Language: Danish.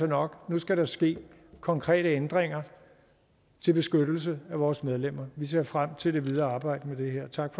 nok nu skal der ske konkrete ændringer til beskyttelse af vores medlemmer vi ser frem til det videre arbejde med det her tak